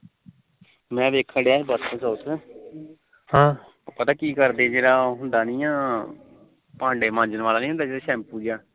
ਮੈ ਵੇਖਣ ਡਿਆ ਪਰਸੋ ਚੋਥ ਪਤਾ ਕੀ ਕਰਦੇ ਆ ਉਹ ਭਾਂਡੇ ਮਾਜਣ ਵਾਲਾ ਨੀ ਹੁੰਦਾ ਸ਼ੈਂਪੂ ਜਾ